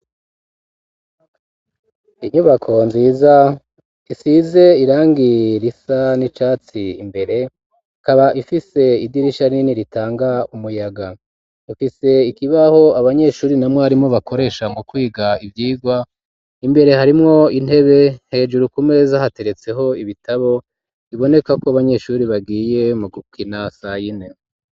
Inyubako nziza, isize irangi risa n'icatsi imbere, ikaba ifise idirisha rinini ritanga umuyaga; ifise ikibaho abanyeshuri na mwarimu, bakoresha mu kwiga ivyigwa; imbere harimwo intebe, hejuru ku meza hateretseho ibitabo, boneka ko abanyeshuri, bagiye mu gukina sayine.